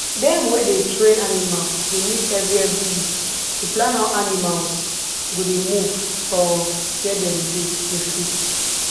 dem wey dey train animal dey meet every every week to plan how animals go dey move for where dem dey feed